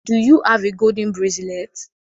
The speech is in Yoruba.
Do you have a golden bracelet?